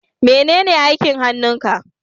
menene aikin hannun ka?